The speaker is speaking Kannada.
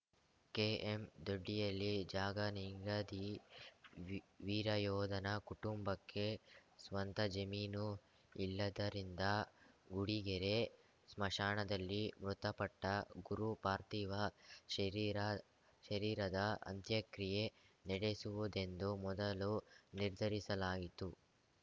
ಕೆಎಂದೊಡ್ಡಿಯಲ್ಲಿ ಜಾಗ ನಿಗದಿ ವೀ ವೀರಯೋಧನ ಕುಟುಂಬಕ್ಕೆ ಸ್ವಂತ ಜಮೀನು ಇಲ್ಲದ್ದರಿಂದ ಗುಡಿಗೆರೆ ಸ್ಮಶಾನದಲ್ಲಿ ಮೃತಪಟ್ಟಗುರು ಪಾರ್ಥಿವ ಶರೀರ ಶರೀರದ ಅಂತ್ಯಕ್ರಿಯೆ ನಡೆಸುವುದೆಂದು ಮೊದಲು ನಿರ್ಧರಿಸಲಾಯಿತ್ತು